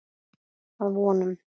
Að vonum.